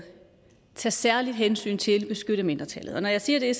tage særligt hensyn til at beskytte mindretallet og når jeg siger det er